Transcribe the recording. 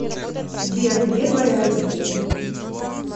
сбер где твои родители